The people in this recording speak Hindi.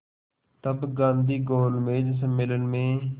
तब गांधी गोलमेज सम्मेलन में